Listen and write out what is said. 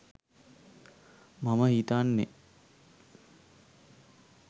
මම හිතන්නෙ